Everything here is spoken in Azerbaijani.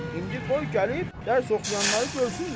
İndi qoy gəlib dərs oxuyanları görsünlər.